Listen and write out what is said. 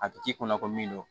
A bɛ k'i kunna ko min don